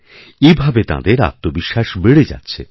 এভাবে তাঁদের আত্মবিশ্বাস বেড়ে যাচ্ছে